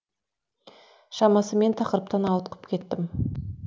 шамасы мен тақырыптан ауытқып кеттім